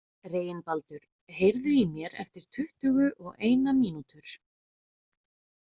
Reginbaldur, heyrðu í mér eftir tuttugu og eina mínútur.